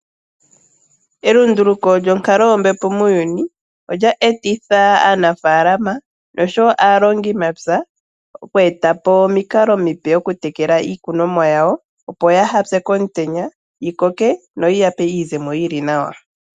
Elunduluko lyonkalo yombepo muuyuni, olye etitha aanafalama noshowo aalongimapya, oku etapo omikalo omipe okutekela iikunomwa yawo, opo yaaha pye komutenya, yi koke, noyi yape iizemo yili nawa.